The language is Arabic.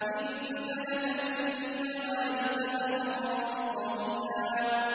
إِنَّ لَكَ فِي النَّهَارِ سَبْحًا طَوِيلًا